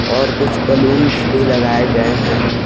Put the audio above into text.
और कुछ बैलूंस भी लगाए गए हैं।